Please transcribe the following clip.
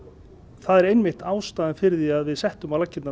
það er einmitt ástæðan fyrir því að við settum á laggirnar